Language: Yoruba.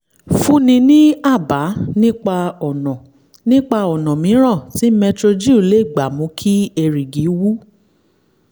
fúnni ní àbá nípa ọ̀nà nípa ọ̀nà mìíràn tí metrogyl lè gbà mú kí erìgì wú